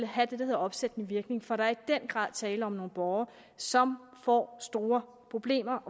have det der hedder opsættende virkning for der er i den grad tale om nogle borgere som får store problemer